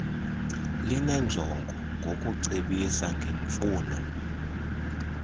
linenjongo yokucebisa ngemfuno